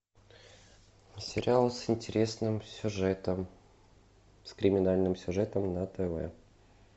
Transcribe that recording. сериал с интересным сюжетом с криминальным сюжетом на тв